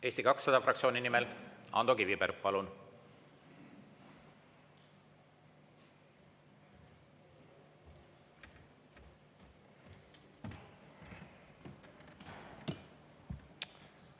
Eesti 200 fraktsiooni nimel Ando Kiviberg, palun!